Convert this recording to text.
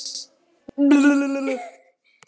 Byggðastofnun þarf meiri framlög